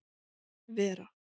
Vera